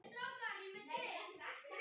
Nýir tímar tóku við.